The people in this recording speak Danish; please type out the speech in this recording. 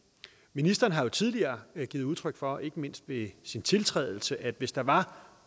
ministeren har jo tidligere givet udtryk for ikke mindst ved sin tiltrædelse at hvis der var